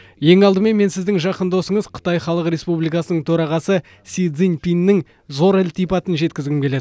ең алдымен мен сіздің жақын досыңыз қытай халық республикасының төрағасы си цзиньпиннің зор ілтипатын жеткізгім келеді